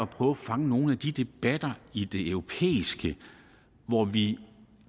på at fange nogle af de debatter i det europæiske hvor vi